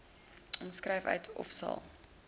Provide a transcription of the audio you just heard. omskryf uitmaak ofsal